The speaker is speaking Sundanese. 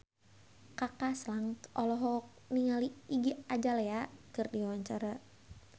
Kaka Slank olohok ningali Iggy Azalea keur diwawancara